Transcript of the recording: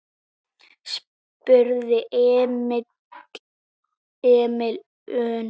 spurði Emil önugur.